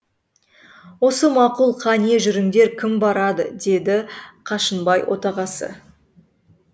осы мақұл қане жүріңдер кім барады деді қашынбай отағасы